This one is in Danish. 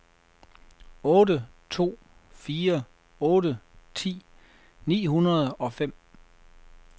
otte to fire otte ti ni hundrede og fem